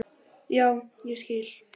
Já, ég skil.